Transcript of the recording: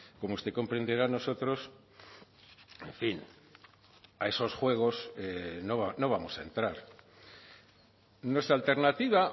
como usted comprenderá nosotros en fin a esos juegos no vamos a entrar nuestra alternativa